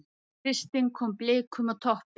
Kristinn kom Blikum á toppinn